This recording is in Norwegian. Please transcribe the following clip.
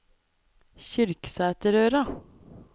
Kyrksæterøra